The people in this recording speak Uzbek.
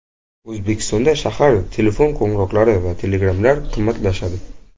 O‘zbekistonda shahar telefon qo‘ng‘iroqlari va telegrammalar qimmatlashadi.